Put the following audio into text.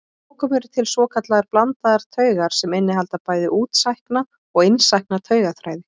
Að lokum eru til svokallaðar blandaðar taugar sem innihalda bæði útsækna og innsækna taugaþræði.